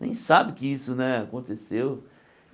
Nem sabem que isso né aconteceu.